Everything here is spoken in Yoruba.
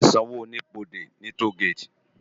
Á ti n sànwó ónibódé ni tógéti